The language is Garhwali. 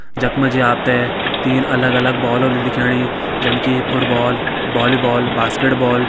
जख मजी आपते तीन अलग अलग बॉल होलि दिखेणी। जन की फुटबॉल बॉलीबॉल बास्केटबॉल ।